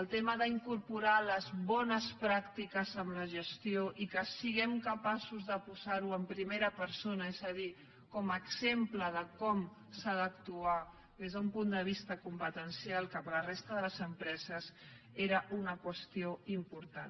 el tema d’incorporar les bones pràctiques en la gestió i que siguem capaços de posarho en primera persona és a dir com a exemple de com s’ha d’actuar des d’un punt de vista competencial cap a la resta de les empreses era una qüestió important